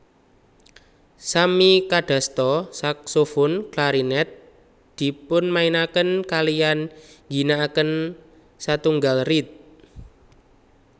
Sami kadasta saksofon klarinet dpunimainaken kaliyan ngginaaken setunggal reed